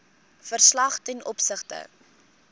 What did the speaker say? verslag ten opsigte